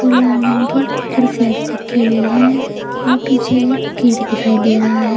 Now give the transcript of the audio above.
नारंगी कुर्सियां भी रखी हुई हैं और पीछे एक गेट दिखाई दे रहा है।